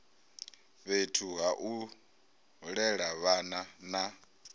fhethu hau lela vhana na